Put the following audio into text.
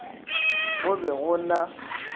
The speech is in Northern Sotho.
mo go be go na